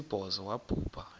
wesibhozo wabhu bha